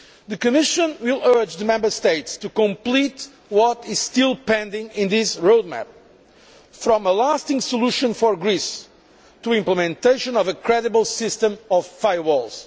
The Commission will urge the Member States to complete what is still pending in this road map from a lasting solution for Greece to implementation of a credible system of firewalls.